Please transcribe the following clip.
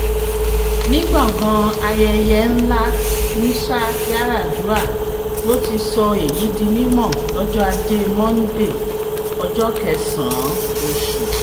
ní gbọ̀ngàn ayẹyẹ ńlá musayaradua ló ti sọ èyí di mímọ́ lọ́jọ́ ajé monde ọjọ́ kẹsàn-án oṣù